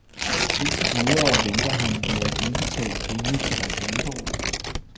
Ind til videre venter han med at indbetale pengene til reklamebureauet.